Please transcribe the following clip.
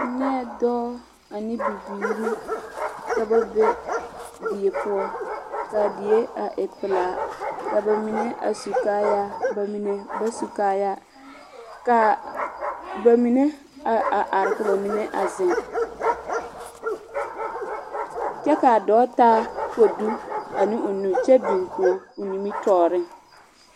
N nyɛɛ ane bibiiri ka ba be die poɔ, ka a die a e pelaa, ka bamine a su kaayaa, bamine ba su kaayaa, ka bamine a a are ka bamine a zeŋ, kyɛ ka a dɔɔ taa kodu ane o nu kyɛ biŋ koɔ o nimitɔɔreŋ. 13431